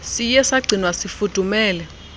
siye sagcinwa sifudumele